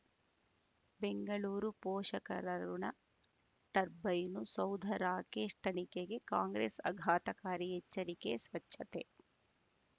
ಬೆಂಗಳೂರು ಪೋಷಕರಋಣ ಟರ್ಬೈನು ಸೌಧ ರಾಕೇಶ್ ತನಿಖೆಗೆ ಕಾಂಗ್ರೆಸ್ ಆಘಾತಕಾರಿ ಎಚ್ಚರಿಕೆ ಸ್ವಚ್ಛತೆ